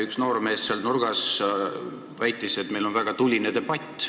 Üks noormees sealt nurgast väitis, et meil on väga tuline debatt.